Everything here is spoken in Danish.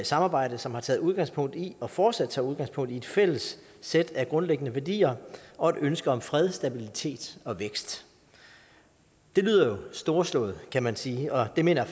samarbejde som har taget udgangspunkt i og fortsat tager udgangspunkt i et fælles sæt af grundlæggende værdier og et ønske om fred stabilitet og vækst det lyder jo storslået kan man sige og det mener